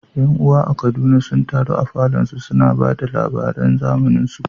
’Yan’uwa a Kaduna sun taru a falon su, suna ta ba da labaran zamaninsu.